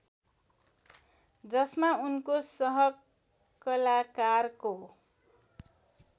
जसमा उनको सहकलाकारको